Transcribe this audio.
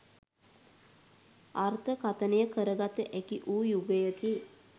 අර්ථකථනය කරගත හැකි වූ යුගයකි.